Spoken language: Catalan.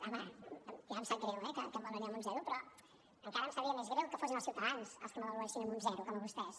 home ja em sap greu eh que em valori amb un zero però encara em sabria més greu que fossin els ciutadans els que m’avaluessin amb un zero com a vostès